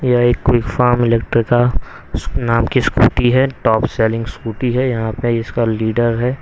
यह एक quick farm इलेक्ट्रि का नाम की स्कूटी है टॉप सेलिंग स्कूटी है यहां पे इसका लीडर है।